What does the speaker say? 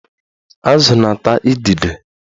Azụ na-ata idide